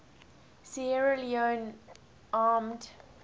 sierra leone armed